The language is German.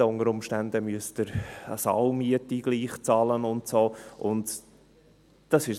Unter Umständen müssen Sie eine Saalmiete trotzdem bezahlen.